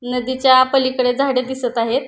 नदीच्या पलीकडे झाड दिसत आहे.